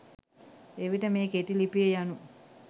එවිට මේ කෙටි ලිපිය යනු